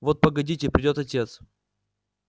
вот погодите придёт отец